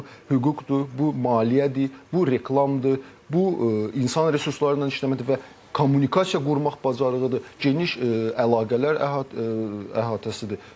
Yenə də deyirəm, bu hüquqdur, bu maliyyədir, bu reklamdır, bu insan resursları ilə işləməkdir və kommunikasiya qurmaq bacarığıdır, geniş əlaqələr əhatəsidir.